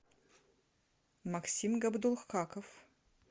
максим габдулхаков